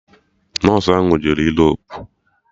Nọsụ ahụ jere Europu